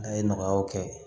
A ye nɔgɔyaw kɛ